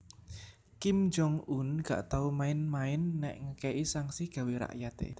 Kim Jong un gak tau main main nek ngeke'i sanksi gawe rakyate